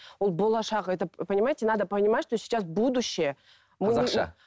ол болашақ етіп понимаете надо понимать что сейчас будущее